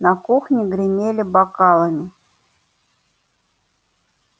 на кухне гремели бокалами